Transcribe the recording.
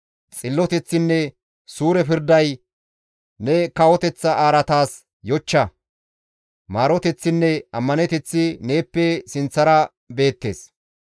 Xilloteththinne suure pirday ne kawoteththa araataas yochcha; maaroteththinne ammaneteththi neeppe sinththara beettes.